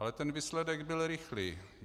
Ale ten výsledek byl rychlý.